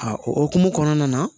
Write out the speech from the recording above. A o hokumu kɔnɔna na